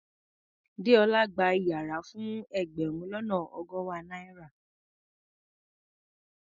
Déọlá gba yàrá fún ẹgbẹ̀rún lọ́nà ọgọ́wàá náírà.